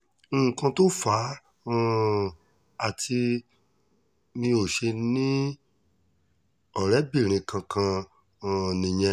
nǹkan tó fà um á tí mi ò ṣe ní ọ̀rẹ́bìnrin kankan um nìyẹn